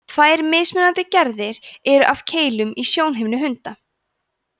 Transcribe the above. tvær mismunandi gerðir eru af keilum í sjónhimnu hunda